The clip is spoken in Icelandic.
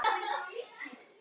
Þín Ágústa.